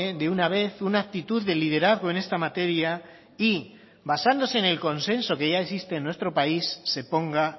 de una vez una actitud de liderazgo en esta materia y basándose en el consenso que ya existe en nuestro país se ponga